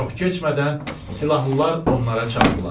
Çox keçmədən silahlılar onlara çatdılar.